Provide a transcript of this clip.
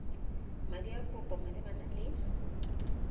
madi a kopo malebana le